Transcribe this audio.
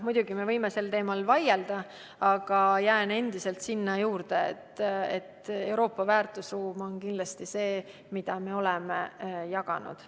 Muidugi me võime sel teemal vaielda, aga jään endiselt selle juurde, et Euroopa väärtusruum on kindlasti see, mida me oleme jaganud.